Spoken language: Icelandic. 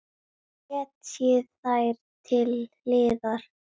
Setjið þær til hliðar.